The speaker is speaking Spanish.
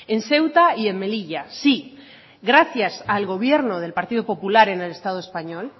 en ceuta y en melilla sí gracias al gobierno del partido popular en el estado español